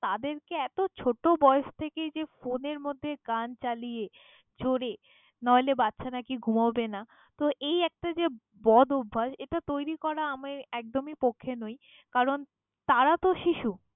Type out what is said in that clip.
তাদেরকে এতো ছোট বয়স থেকেই যে phone এর মধ্যে গান চালিয়ে জোরে নইলে বাচ্ছা নাকি ঘুমাবে না! তো এই একটা যে বদ অভ্যাস, এটা তৈরি করা আমি একদমই পক্ষে নই কারণ তারা তো শিশু।